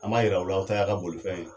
An b'a yira aw la a ta y'a ka bolifɛn ye.